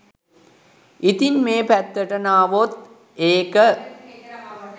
ඉතින් මේ පැත්තට නාවොත් ඒක